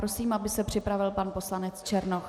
Prosím, aby se připravil pan poslanec Černoch.